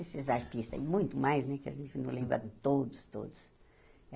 Esses artistas aí, muito mais né, que a gente não lembra de todos, todos.